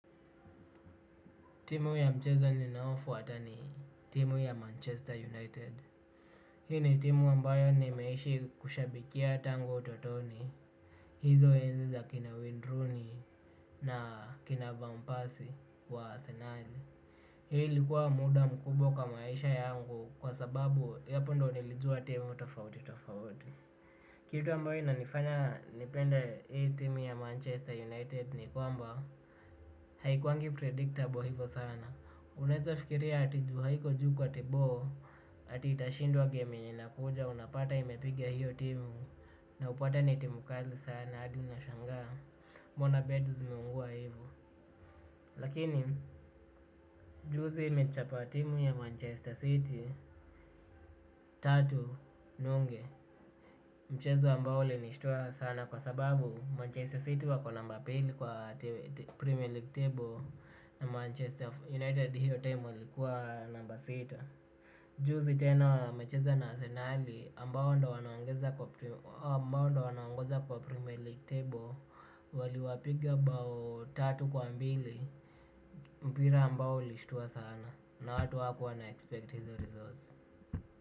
Timu ya mchezo ninaofuata ni timu ya Manchester United. Hii ni timu ambayo nimeishi kushabikia tangu utotoni. Hizo enzi za kina Wayne Rooney na kina Vampasie wa Arsenal. Hii likuwa muda mkubwa kwa maisha yangu kwa sababu hapo ndo nilijua timu tofauti tofauti. Kitu ambayo inanifanya nipende hii timu ya Manchester United ni kwamba haikuwangi predictable hivo sana unaweza fikiria ati juu haiko juu kwa table, ati itashindwa gemu yenye inakuja unapata imepigia hiyo timu na upate ni timu kali sana hadi unashangaa mbona bet zimeungua hivyo lakini, juzi imechapa timu ya Manchester City, tatu nunge. Mchezo ambao ulinishtua sana kwa sababu Manchester City wako namba pili kwa Premier League table na Manchester United hiyo timu ilikuwa namba sita. Juzi tena wamecheza na Arsenal ambao ndo wanaongoza kwa Primier League Table waliwapiga bao tatu kwa mbili mpira ambao ulishtua sana na watu hawakuwa wana expect hizo results.